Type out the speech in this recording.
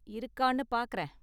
இருக்கானு பாக்கறேன்.